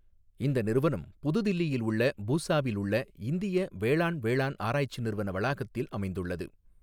இந்த நிறுவனம் புது தில்லியில் உள்ள பூசாவில் உள்ளஇந்திய வேளாண் வேளாண் ஆராய்ச்சி நிறுவன வளாகத்தில் அமைந்துள்ளது.